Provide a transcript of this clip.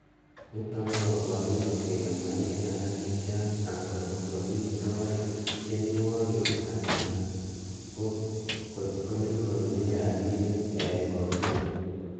Niton ko koborunet kele moingen alak chechang angot ko mi soet tienwogik anan ko kotkonyoru rabinik en kotugul.